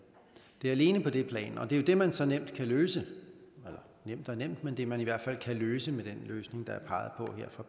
det er alene på det plan og det er jo det man så nemt kan løse eller nemt og nemt men det man i hvert fald kan løse med den løsning der